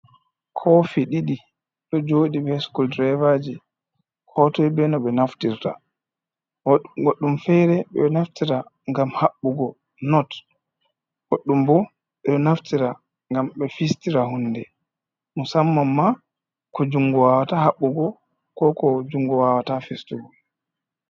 Kofi ɗiɗi ɗo jooɗii ɓe sukul direvaaji, ko toi be no ɓe naftirta goɗɗum fere ɓe ɗo naftira ngam habbugo not, goɗɗum ɓo ɓe ɗo naftira ngam ɓe fistira huunde, musamman ko junngo wawata habbugo ko ko jungu wawata fistugo.